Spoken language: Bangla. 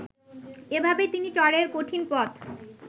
এভাবেই তিনি চরের কঠিন পথ